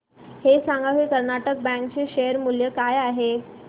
हे सांगा की कर्नाटक बँक चे शेअर मूल्य काय आहे